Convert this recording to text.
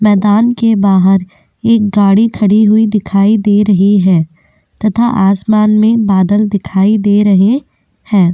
मैदान के बाहर एक गाड़ी खड़ी हुई दिखाई दे रही है तथा आसमान में बादल दिखाई दे रहे हैं।